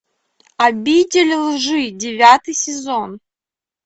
обитель лжи девятый сезон